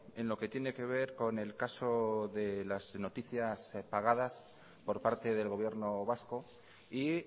en lo que tiene que ver con el caso de las noticias pagadas por parte del gobierno vasco y